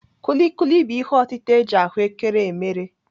Kuli kuli bụ ihe otịta eji ahụ́kere emere.